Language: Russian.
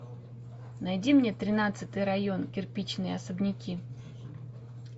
найди мне тринадцатый район кирпичные особняки